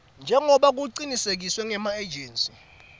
njengobe kucinisekiswe ngemaejensi